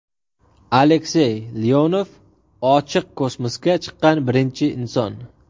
Aleksey Leonov ochiq kosmosga chiqqan birinchi inson.